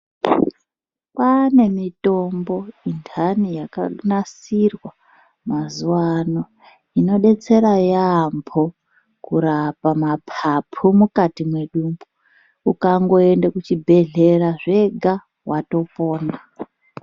Kwane mitombo yendani yakagadzirwa mazuva ano inodetsera kurapa mapapu mukati medumbu ukaenda kuzvibhedhlera zvega watopona.